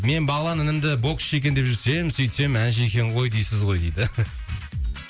мен бағлан інімді боксшы екен деп жүрсем сөйтсем әнші екен ғой дейсіз ғой дейді